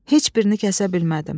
Heç birini kəsə bilmədim.